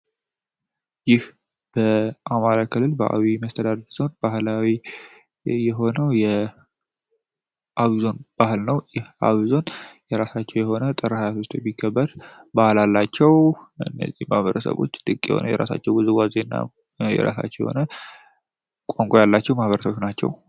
ይህ በአማራ ክልል በአዊ የመስተዳር ዞን ባህላዊ የሆነው የአቪዞን ባህል ነው ይህ አቪዞን የራሳቸው የሆነ ጥረሃ ያሶስት የሚከበር ባህል አላቸው እነዚህ ማህበረሰቦች የሆነው የራሳቸው ውዝዋዜ እና የራሳቸው የሆነ ቋንቋ ያላቸው ማህበረሰቦች ናቸው።